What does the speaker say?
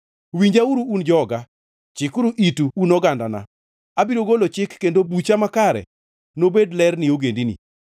Winjauru un joga, chikuru itu un ogandana: Abiro golo chik kendo bucha makare nobed ler ne ogendini.